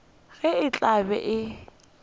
ge e tla be e